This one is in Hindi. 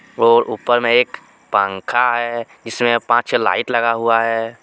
और ऊपर मे एक पंखा हे इसमें पांच छे लाइट लगा हुआ हे.